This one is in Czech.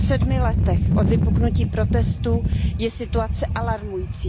Po sedmi letech od vypuknutí protestů je situace alarmující.